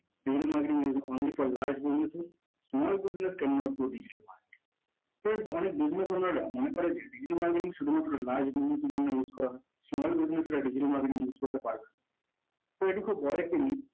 digital marketing is only for large businesses small business can not go digital market friends অনেক business আলারা মনে করে যে digital marketing শুধুমাত্র large business এর জন্য use করা হয়। সে small business এর জন্য digital marketing use করতে পারবেনা। তো এটি খুব বড় একটি need